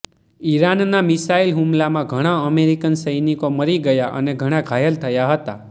ઈરાનના મિસાઈલ હુમલામાં ઘણા અમેરિકન સૈનિકો મરી ગયા અને ઘણા ઘાયલ થયા હતા